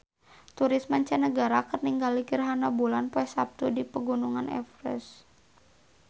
Turis mancanagara keur ningali gerhana bulan poe Saptu di Pegunungan Everest